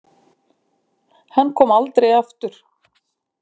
Hann kom aldrei aftur.